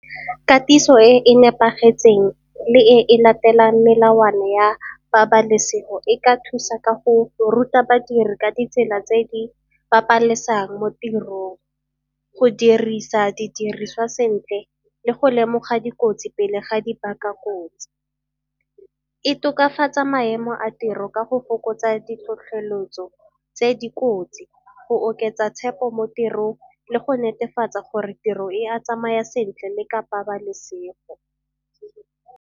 Katiso e e nepagetseng le e e latelang melawana ya pabalesego e ka thusa ka go ruta badiri ka ditsela tse di babalesang mo tirong. Go dirisa didiriswa sentle le go lemoga dikotsi pele ga di baka kotsi. E tokafatsa maemo a tiro ka go fokotsa ditlhotlheletso tse dikotsi go oketsa tshepo mo tirong le go netefatsa gore tiro e a tsamaya sentle le ka pabalesego.